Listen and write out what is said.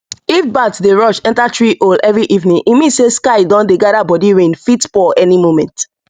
if bat dey rush enter tree hole earlyevening e mean say sky don dey gather bodyrain fit pour any moment